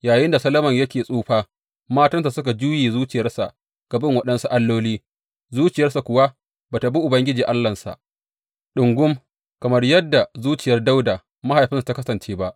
Yayinda Solomon yake tsufa, matansa suka juye zuciyarsa ga bin waɗansu alloli, zuciyarsa kuwa ba tă bi Ubangiji Allahnsa ɗungum kamar yadda zuciyar Dawuda mahaifinsa ta kasance ba.